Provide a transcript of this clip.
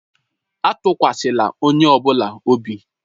Atụkwasịla onye ọ bụla obi!